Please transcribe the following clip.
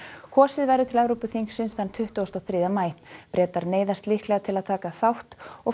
kosið verður til Evrópuþingsins tuttugasta og þriðja maí Bretar neyðast líklega til að taka þátt og